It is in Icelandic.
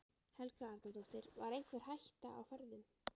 Helga Arnardóttir: Var einhver hætta á ferðum?